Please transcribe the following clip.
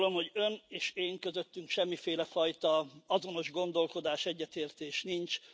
Azt gondolom, hogy Ön és én közöttem semmiféle fajta azonos gondolkodás, egyetértés nincs.